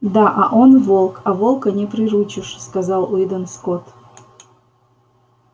да а он волк а волка не приручишь сказал уидон скотт